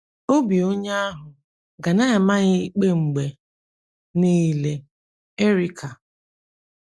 Obi onye ahụ ga na - ama ya ikpe mgbe niile. ” Erica.